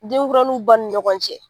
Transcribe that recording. Den kuraninw ba ni ɲɔgɔn cɛ.